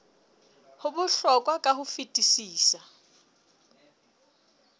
ho bohlokwa ka ho fetisisa